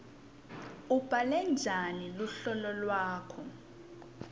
ubhale njani luhlolo lwakho